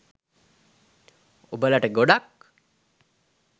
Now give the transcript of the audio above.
ඔබලට ගොඩක්